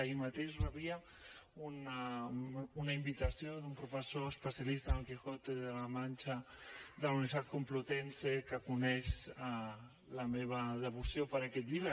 ahir mateix rebia una invitació d’un professor especialista en el quijote de la mancha de la universidad complutense que coneix la meva devoció per aquest llibre